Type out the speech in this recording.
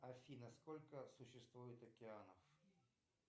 афина сколько существует океанов